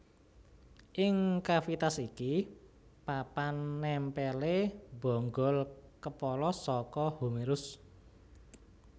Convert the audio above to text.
Ing cavitas iki papan nèmpèlé bonggol kepala saka humerus